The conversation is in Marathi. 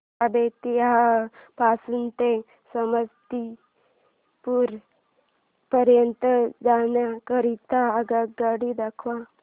मला बेत्तीयाह पासून ते समस्तीपुर पर्यंत जाण्या करीता आगगाडी दाखवा